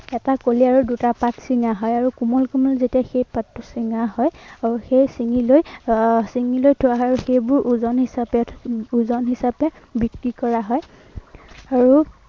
এটা কলি আৰু দুটা পাত ছিঙা হয় আৰু কোমলীয়া যেতিয়া সেই পাতটো ছিঙা হয় আৰু সেই ছিঙি লৈ আহ ছিঙি লৈ সেইবোৰ ওজন হিচাপে, ওজন হিচাপে বিক্ৰী কৰা হয়। আৰু